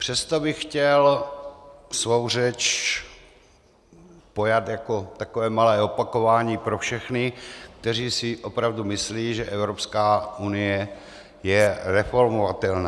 Přesto bych chtěl svou řeč pojat jako takové malé opakování pro všechny, kteří si opravdu myslí, že Evropská unie je reformovatelná.